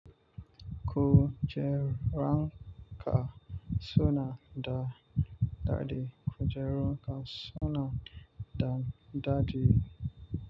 Kujeran ka suna da dadi. Kujeru ka suna da dadi.